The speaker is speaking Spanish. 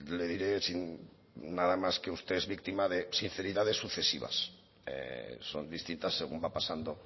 le diré sin nada más que usted es víctima de sinceridades sucesivas son distintas según va pasando